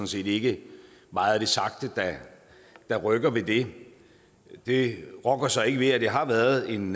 set ikke meget af det sagte der rykker ved det det rokker så ikke ved at det har været en